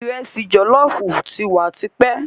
Ìresì jòlóoófu ti wa tipẹ́.